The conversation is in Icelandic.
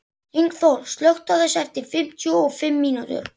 Lyngþór, slökktu á þessu eftir fimmtíu og fimm mínútur.